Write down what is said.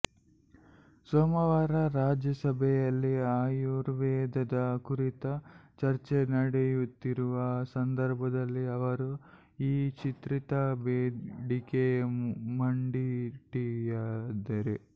ಸೋಮವಾರ ರಾಜ್ಯಸಭೆಯಲ್ಲಿ ಆಯುರ್ವೇದದ ಕುರಿತು ಚರ್ಚೆ ನಡೆಯುತ್ತಿರುವ ಸಂದರ್ಭದಲ್ಲಿ ಅವರು ಈ ವಿಚಿತ್ರ ಬೇಡಿಕೆ ಮುಂದಿಟ್ಟಿದ್ದಾರೆ